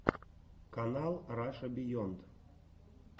канал раша биенд